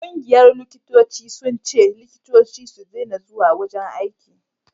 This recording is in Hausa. ƙungiyar likitoci sun ce likitoci su dena zuwa wajen aiki